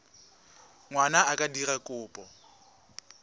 ngwana a ka dira kopo